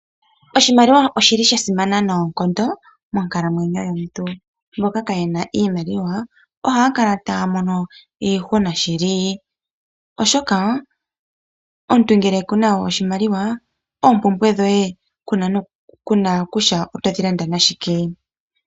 Oshimaliwa oshili sha simana noonkondo monkalamwenyo yomuntu. Mboka kaayena iimaliwa ohaya kala taya mono iihuna shili oshoka omuntu ngele kuna oshimaliwa oompumbwe dhoye kuna kutya oto dhi landa nashike.